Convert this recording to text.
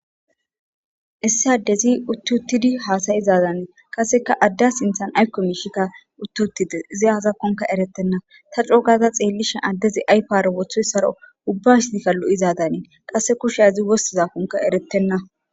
Issi adezi uttuttidi haasayizaadanii kaseka adda sinthan aykko miishikka utti uttide zi hazakkonka erettenna ta cookaza xeellishen addezi aypiaro wothoy saro ubbasidikallo'izadaniin qasse kushazi wossizakkonka eretenna.